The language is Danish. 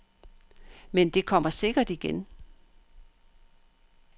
Men det kommer sikkert igen.